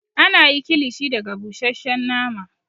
Ana yi kilishi daga busheshshen nama